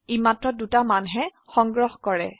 ই মাত্ৰ দুটা মানহে সংগ্ৰহ কৰে